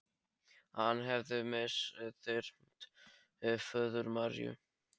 Að hann hefði misþyrmt föður Maríu.